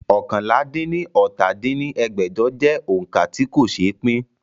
oókànlá-dín-ní-ọ́ta dín ní ẹgbẹ́jọ jẹ́ òońkà tí kò ṣe pín